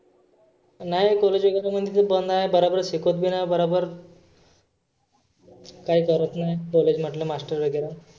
नाही college एखाद महिना बंद आहे. बराबर शिकवत बी नाही बराबर काही करत नाही college मधले master वगैरा.